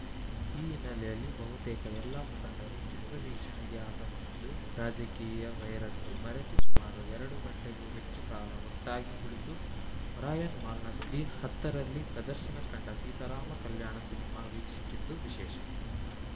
ಈ ಹಿನ್ನೆಲೆಯಲ್ಲಿ ಬಹುತೇಕ ಎಲ್ಲ ಮುಖಂಡರು ಚಿತ್ರ ವೀಕ್ಷಣೆಗೆ ಆಗಮಿಸಿದ್ದು ರಾಜಕೀಯ ವೈರತ್ವ ಮರೆತು ಸುಮಾರು ಎರಡು ಗಂಟೆಗೂ ಹೆಚ್ಚು ಕಾಲ ಒಟ್ಟಾಗಿ ಕುಳಿತು ಒರಯನ್‌ ಮಾಲ್‌ನ ಸ್ಕ್ರೀನ್‌ ಹತ್ತರಲ್ಲಿ ಪ್ರದರ್ಶನ ಕಂಡ ಸೀತಾರಾಮ ಕಲ್ಯಾಣ ಸಿನಿಮಾ ವೀಕ್ಷಿಸಿದ್ದು ವಿಶೇಷ